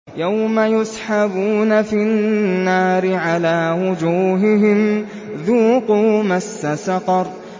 يَوْمَ يُسْحَبُونَ فِي النَّارِ عَلَىٰ وُجُوهِهِمْ ذُوقُوا مَسَّ سَقَرَ